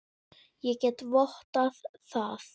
Ég get vottað það.